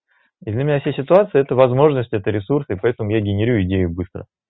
и для меня вся ситуация это возможность это ресурсы поэтому я генерирую идею быстро